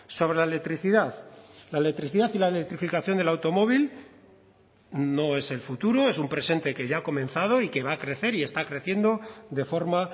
sobre la electricidad la electricidad y la electrificación del automóvil no es el futuro es un presente que ya ha comenzado y que va a crecer y está creciendo de forma